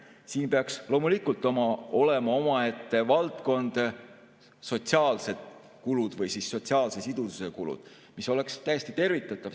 Siin peaks loomulikult olema omaette valdkond sotsiaalsed kulud või sotsiaalse sidususe kulud, mis oleks täiesti tervitatav.